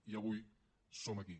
i avui som aquí